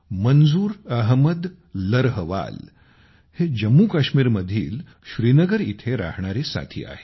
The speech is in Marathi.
मंजूर अहमद लर्हवाल हे जम्मूकाश्मीरमधीलश्रीनगर येथे राहणारे साथी आहेत